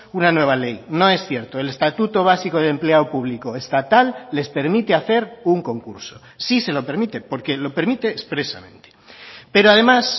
una nueva ley no es cierto el estatuto básico de empleo público estatal les permite hacer un concurso sí se lo permite porque lo permite expresamente pero además